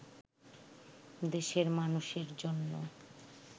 দেশের মানুষের জন্য